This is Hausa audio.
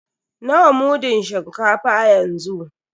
Nawa mudun shinkafa yanzu?